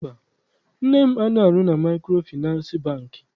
Mba, nne m anaghị arụ na Maịkrofịnansị Bankị.